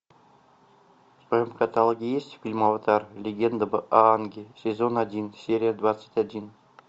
в твоем каталоге есть фильм аватар легенда об аанге сезон один серия двадцать один